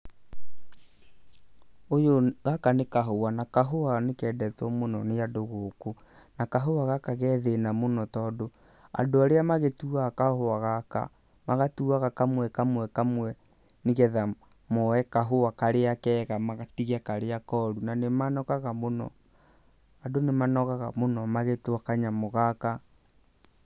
Gaka nĩ kahũa na kahũa nĩ kendetwo mũno nĩ andũ gũkũ, na kahũa gaka ge thĩna mũno, tondũ andũ arĩa magĩtuaga kahũa gaka magatuaga kamwe kamwe kamwe, nĩgetha mooe kahũa karĩa kega, matige karĩa koru, na nĩ manogaga mũno. Andũ nĩ manogaga mũno magĩtua kanyamũ gaka.